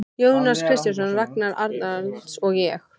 Jónas Kristjánsson, Ragnar Arnalds og ég.